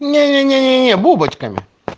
не не не бубочками